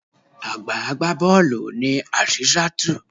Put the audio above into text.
Àgbà agbá bọ́ọ̀lù ni Azeezatu.